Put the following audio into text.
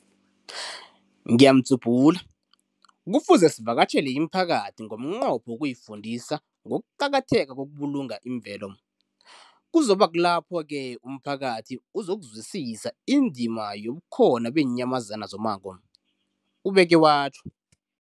Kufuze sivakatjhele imiphakathi ngomnqopho wokuyifundisa ngokuqakatheka kokubulunga imvelo. Kuzoku ba kulapho-ke umphakathi uzokuzwisisa indima yobukhona beenyamazana zommango, ubeke watjho.